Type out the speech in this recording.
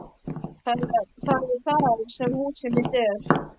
Það er þar sem húsið mitt er.